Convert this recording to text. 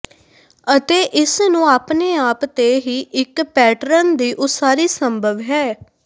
ਅਤੇ ਇਸ ਨੂੰ ਆਪਣੇ ਆਪ ਤੇ ਹੀ ਇੱਕ ਪੈਟਰਨ ਦੀ ਉਸਾਰੀ ਸੰਭਵ ਹੈ